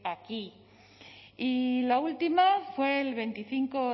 a aquí y la última fue el veinticinco